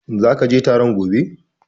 Are you going to the meeting tomorrow?